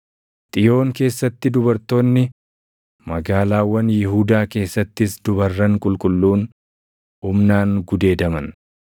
Xiyoon keessatti dubartoonni, magaalaawwan Yihuudaa keessattis dubarran qulqulluun // humnaan gudeedaman.